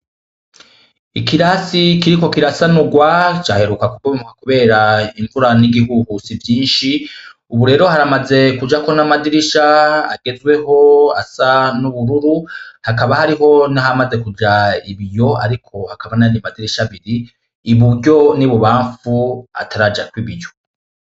Ikirasi kiriko kirasanurwa caheruka kubomoka kubera imvura n'ibihuhusi vyinshi, ubu rero haramaze kujako n'amadirisha agezweho asa n'ubururu, hakaba hariho n'ahamaze kuja ibiyo ariko hakaba n'ayandi madirisha abiri iburyo n'ibubamfu atarajako ibiyo.